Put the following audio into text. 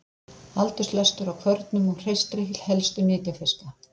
aldurslestur á kvörnum og hreistri helstu nytjafiska